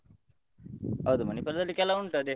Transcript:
ಹೌದು Manipal ದಲ್ಲಿ ಕೆಲವು ಉಂಟು ಅದೇ.